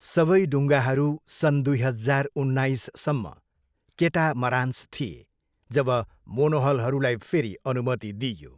सबै डुङ्गाहरू सन् दुई हजार उन्नाइससम्म केटामरान्स थिए जब मोनोहलहरूलाई फेरि अनुमति दिइयो।